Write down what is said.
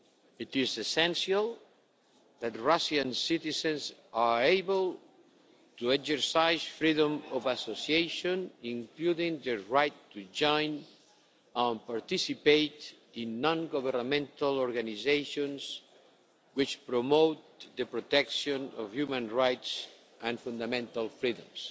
It is essential that Russian citizens are able to exercise freedom of association, including the right to join and participate in non governmental organisations which promote the protection of human rights and fundamental freedoms.